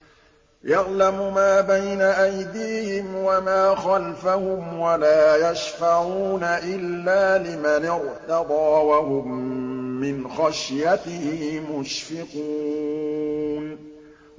يَعْلَمُ مَا بَيْنَ أَيْدِيهِمْ وَمَا خَلْفَهُمْ وَلَا يَشْفَعُونَ إِلَّا لِمَنِ ارْتَضَىٰ وَهُم مِّنْ خَشْيَتِهِ مُشْفِقُونَ